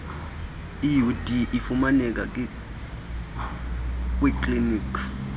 iud ifumaneka kwiikliniki